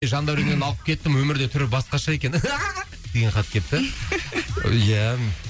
жандәуреннен алып кеттім өмірде түрі басқаша екен деген хат кепті ия